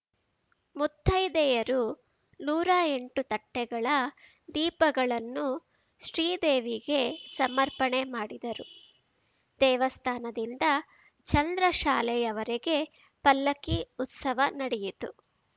ಮುತ್ತೈದೆಯರು ನೂರಾ ಎಂಟು ತಟ್ಟೆಗಳ ದೀಪಗಳನ್ನು ಶ್ರೀದೇವಿಗೆ ಸಮರ್ಪಣೆ ಮಾಡಿದರು ದೇವಸ್ಥಾನದಿಂದ ಚಂದ್ರಶಾಲೆಯವರೆಗೆ ಪಲ್ಲಕ್ಕಿ ಉತ್ಸವ ನಡೆಯಿತು